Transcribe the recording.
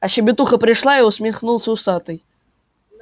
а щебетуха пришла и усмехнулся усатый